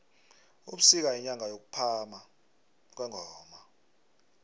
ubusika yinyanga yokuphama kwengoma